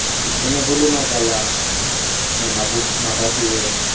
ho be le makalana mabatoweng